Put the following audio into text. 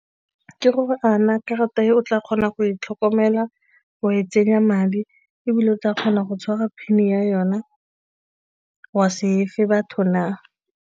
Ke gore a na karata eo o tla kgona go e tlhokomela, wa e tsenya madi ebile o tla kgona go tshwara PIN-e ya yona wa se efe batho na?